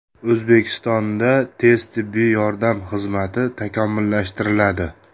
O‘zbekistonda tez tibbiy yordam xizmati takomillashtiriladi.